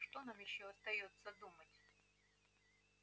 что нам ещё остаётся думать